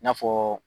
I n'a fɔ